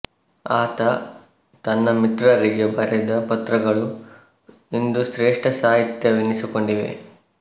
ಆತ ತನ್ನ ಮಿತ್ರರಿಗೆ ಬರೆದ ಪತ್ರಗಳು ಇಂದು ಶ್ರೇಷ್ಠ ಸಾಹಿತ್ಯವೆನಿಸಿಕೊಂಡಿವೆ